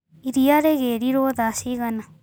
Iria rĩgĩrirwo thaa cigana.